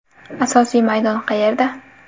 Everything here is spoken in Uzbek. Asosiy maydon qayerda?